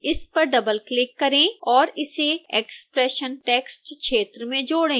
इस पर डबलक्लिक करें और इसे expression टेक्स्ट क्षेत्र में जोड़ें